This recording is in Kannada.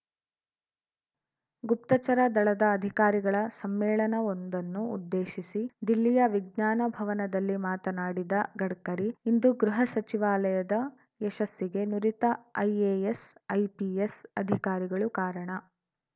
ಗುಪ್ತಚರ ದಳದ ಅಧಿಕಾರಿಗಳ ಸಮ್ಮೇಳನವೊಂದನ್ನು ಉದ್ದೇಶಿಸಿ ದಿಲ್ಲಿಯ ವಿಜ್ಞಾನ ಭವನದಲ್ಲಿ ಮಾತನಾಡಿದ ಗಡ್ಕರಿ ಇಂದು ಗೃಹ ಸಚಿವಾಲಯದ ಯಶಸ್ಸಿಗೆ ನುರಿತ ಐಎಎಸ್‌ ಐಪಿಎಸ್‌ ಅಧಿಕಾರಿಗಳು ಕಾರಣ